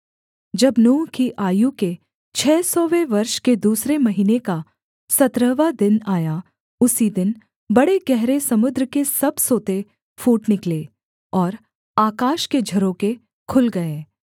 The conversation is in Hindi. जब नूह की आयु के छः सौवें वर्ष के दूसरे महीने का सत्रहवाँ दिन आया उसी दिन बड़े गहरे समुद्र के सब सोते फूट निकले और आकाश के झरोखे खुल गए